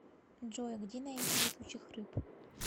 джой где найти летучих рыб